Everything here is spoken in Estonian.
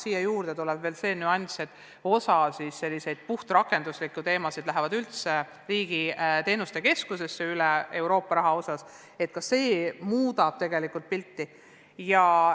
Siia lisandub veel see nüanss, et osa selliseid puhtrakenduslikke ülesandeid, mis on seotud Euroopa Liidu raha kasutamisega, läheb üle Riigi Tugiteenuste Keskusesse.